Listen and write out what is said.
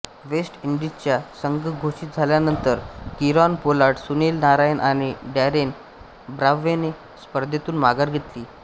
waste इंडीजचा संघ घोषित झाल्यानंतर किरॉन पोलार्ड सुनील नारायण आणि डॅरेन ब्राव्होने स्पर्धेतून माघार घेतली